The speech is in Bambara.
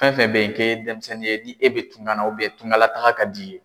Fɛn fɛn bɛ ye k'e ye denmisɛnnin ye ni e bɛ tunkan na tunkanlataga ka d'i ye